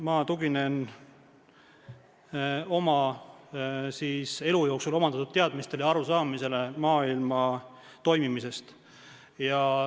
Ma tuginen oma elu jooksul omandatud teadmistele ja arusaamisele maailma toimimisest.